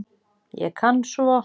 Ég kann svo